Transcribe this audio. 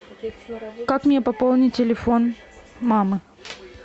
как мне пополнить телефон мамы